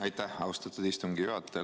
Aitäh, austatud istungi juhataja!